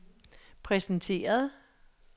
præsenteret